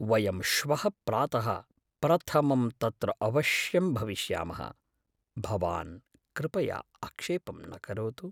वयं श्वः प्रातः प्रथमं तत्र अवश्यं भविष्यामः, भवान् कृपया आक्षेपं न करोतु।